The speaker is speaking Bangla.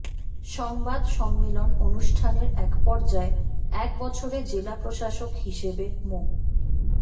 সংবাদ সম্মেলন অনুষ্ঠানের এক পর্যায়ে এক বছরে জেলা প্রশাসক হিসেবে মো